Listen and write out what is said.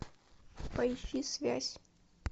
поищи связь